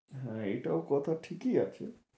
হ্যাঁ এটাও কথা ঠিকই আছে।